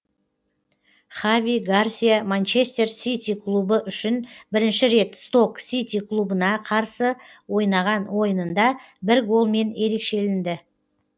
хави гарсия манчестер сити клубы үшін бірінші рет сток сити клубына қарсы ойнаған ойынында бір голмен ерекшелінді